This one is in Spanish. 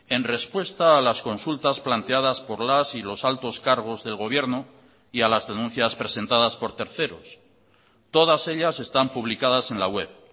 en respuesta a las consultas planteadas por las y los altos cargos del gobierno y a las denuncias presentadas por terceros todas ellas están publicadas en la web